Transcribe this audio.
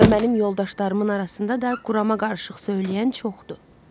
Və mənim yoldaşlarımın arasında da qurama qarışıq söyləyən çoxdur.